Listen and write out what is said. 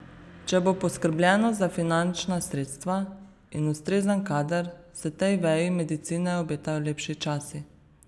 Če bo poskrbljeno za finančna sredstva in ustrezen kader, se tej veji medicine obetajo lepši časi.